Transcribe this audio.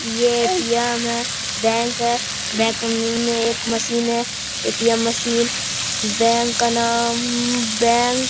ये ए.टी.एम. है बैंक है बैंक में एक मशीन है ए.टी.एम. मशीन बैंक का नाम बैंक बैंक --